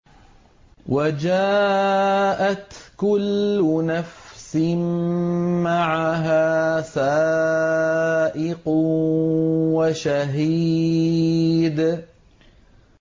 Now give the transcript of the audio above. وَجَاءَتْ كُلُّ نَفْسٍ مَّعَهَا سَائِقٌ وَشَهِيدٌ